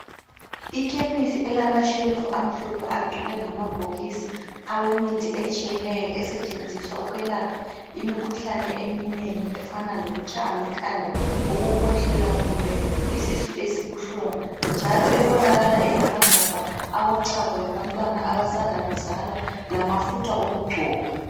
Ikhemisi elamashelufu amhlophe agcwele ngamabhokisi awemithi etshiyeneyo esetshenziswa ukwelapha imikhuhlane eminengi efana lokutshaywa likhanda, ukukhwehlela kumbe isisu esibuhlungu njalo ebonakala ilamagabha ochago lwabantwana abasanda kuzalwa lamafutha okugcoba.